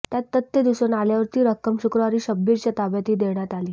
त्यात तथ्य दिसून आल्यावर ती रक्कम शुक्रवारी शब्बीरच्या ताब्यातही देण्यात आली